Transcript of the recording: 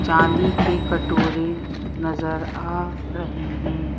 चांदी के कटोरे नजर आ रहे हैं।